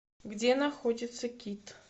где находится кит